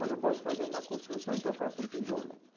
Mas não posso fazer uma construção, então faça um tijolo.